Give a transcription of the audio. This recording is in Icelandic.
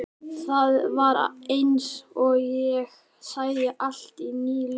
Það var eins og ég sæi allt í nýju ljósi.